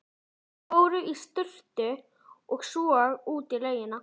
Þeir fóru í sturtu og svo út í laugina.